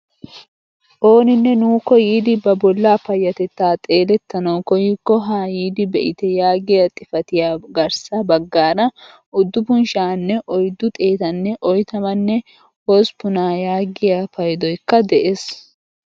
Ooninne nuukko yiidi ba bollaa payatettaa xeelettanawu koyikko haayidi be'ite yaagiyaa xifatiyappe garssa baggaara uduppun sha'anne oyddu xeettanne oytamanne hosppunaa yaagiyaa paydoykka de'ees.